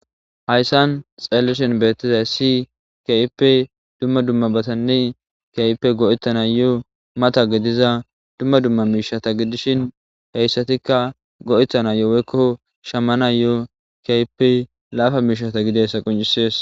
hayssan xeelishin beettizay si kaipe dumma dumma batanne kyipe go7ettana yo7o mata gidiza dumma dumma miishata gidishin heyssatikka go7ettana yooweekko shamana yo7o kp laafa miishata gidessa qoncisees